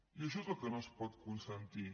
i això és el que no es pot consentir